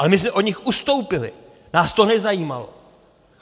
Ale my jsme od nich ustoupili, nás to nezajímalo.